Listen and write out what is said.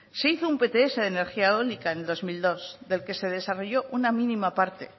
se hizo un pts de energía eólica en el dos mil dos del que se desarrolló una mínima parte